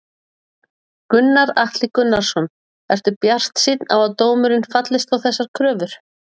Gunnar Atli Gunnarsson: Ertu bjartsýn á að dómurinn fallist á þessar kröfur?